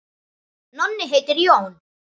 Nonni heitir Jón.